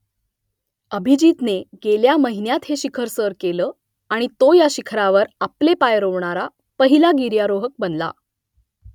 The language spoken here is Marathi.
अभिजीतने गेल्या महिन्यात हे शिखर सर केलं आणि तो या शिखरावर आपले पाय रोवणारा पहिला गिर्यारोहक बनला